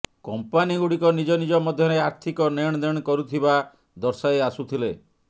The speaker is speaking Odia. କମ୍ପାନିଗୁଡ଼ିକ ନିଜ ନିଜ ମଧ୍ୟରେ ଆର୍ଥିକ ନେଣଦେଣ କରୁଥିବା ଦର୍ଶାଇ ଆସୁଥିଲେ